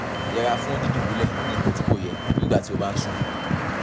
yẹra fún dídùbúlẹ̀ ní ipò tí kò yẹ nígbà tí o bá ń sùn